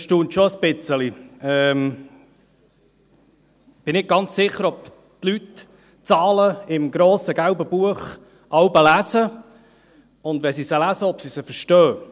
Ich bin nicht ganz sicher, ob die Leute die Zahlen im grossen gelben Buch jeweils lesen, und wenn sie sie lesen, ob sie sie auch verstehen.